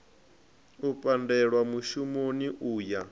u pandelwa mushumoni u ya